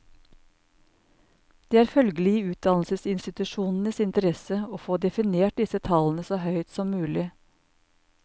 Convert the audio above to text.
Det er følgelig i utdannelsesinstitusjonenes interesse å få definert disse tallene så høyt som mulig.